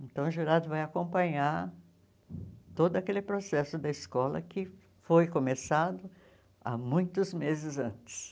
Então, o jurado vai acompanhar todo aquele processo da escola que foi começado há muitos meses antes.